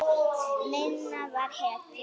Minna var hetja.